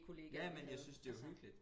Ja ja men jeg synes det uhyggeligt